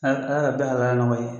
A Ala ka bɛɛ halala nɔgɔya i ye.